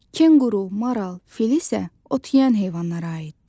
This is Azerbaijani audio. Kenguru, maral, fil isə ot yeyən heyvanlara aiddir.